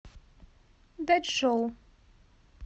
дачжоу